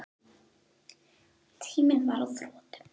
Tíminn var á þrotum.